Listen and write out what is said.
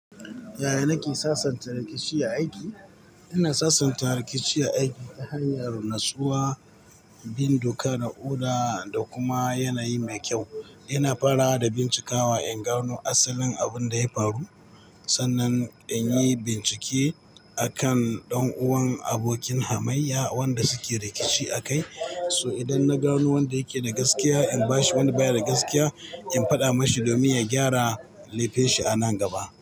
Yaya nake sasanta rikici a aiki? Ina sasanta rikici a aiki ta hanyar natsuwa, bin doka da oda da kuma yanayi mai kyau. Ina fara da bincikawa in gano asalin abin da ya faru. Sannan in yi bincike a kan ɗan'uwan abokin hamayya wanda suke rikici akai. So idan na gano wanda yake da gaskiya, in bashi wanda baya da gaskiya, in faɗa mashi domin ya gyara laifinshi a nan gaba.